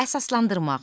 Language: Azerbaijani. Əsaslandırmaq.